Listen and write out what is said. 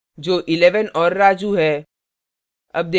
जो 11 और raju है